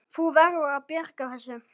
Þú verður að bjarga þessu!